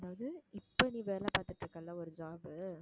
அதாவது இப்ப நீ வேலை பார்த்துட்டு இருக்கல்ல ஒரு job